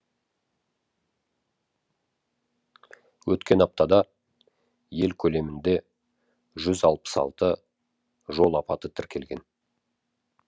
өткен аптада ел көлемінде жүз алпыс алты жол апаты тіркелген